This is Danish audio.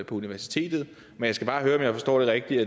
på universitetet jeg skal bare høre om jeg forstår det rigtigt